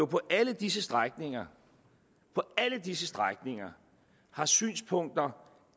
på alle disse strækninger disse strækninger har synspunkter